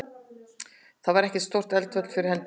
Þar var ekkert stórt eldfjall fyrir hendi.